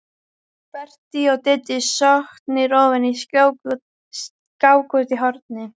Berti og Diddi sokknir ofan í skák úti í horni.